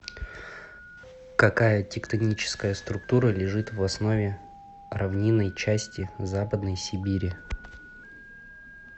какая тектоническая структура лежит в основе равнинной части западной сибири